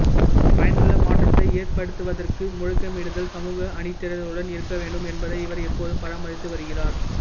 பயனுள்ள மாற்றத்தை ஏற்படுத்துவதற்கு முழக்கமிடுதல் சமூக அணிதிரட்டலுடன் இருக்க வேண்டும் என்பதை இவர் எப்போதும் பராமரித்து வருகிறார்